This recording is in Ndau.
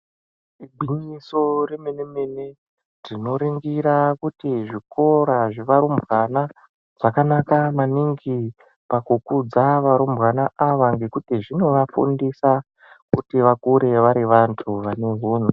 Igwinyiso remene mene tinoringira kuti zvikora zvevarumbwana zvakanaka maningi pakukudza varumbwana ava ngekuti zvinovafundisa kuti vakure vari vantu vane hunhu.